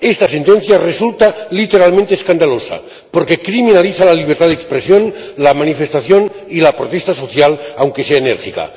Esta sentencia resulta literalmente escandalosa, porque criminaliza la libertad de expresión, la manifestación y la protesta social, aunque sea enérgica.